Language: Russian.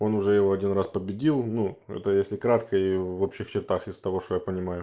он уже его один раз победил ну это если кратко и в общих чертах из того что я понимаю